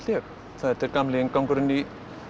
þetta er gamli inngangurinn í